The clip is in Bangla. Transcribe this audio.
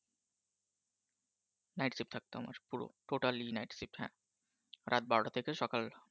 night shift থাকতো আমার পুরো totally night shift হ্যাঁ রাত বারোটা থেকে সকাল